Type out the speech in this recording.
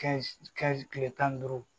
Kɛ kile tan ni duuru